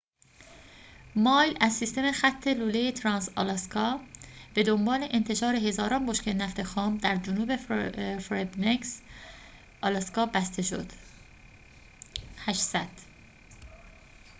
۸۰۰ مایل از سیستم خط لوله ترانس-آلاسکا به دنبال انتشار هزاران بشکه نفت خام در جنوب فربنکس آلاسکا بسته شد